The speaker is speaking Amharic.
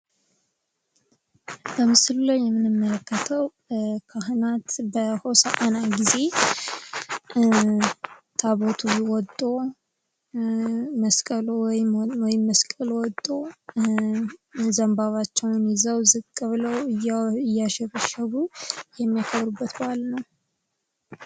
በምስሉ ላይ የምንመለከተው ካህናት በሆሳእና ጊዜ ታቦቱ ወጦ ወይም መስቀሉ ወጦ ዘንባባቸውን ይዘው፣ ዝቅ ብለው፣ እያሸበሸቡ የሚያከብሩበት በዓል ነው።